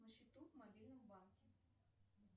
на счету в мобильном банке